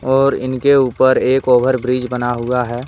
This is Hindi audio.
और इनके ऊपर एक ओवर ब्रिज बना हुआ है।